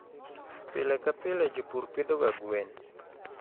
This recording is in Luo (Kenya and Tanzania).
Pile ka pile jopur pidhoga gwen.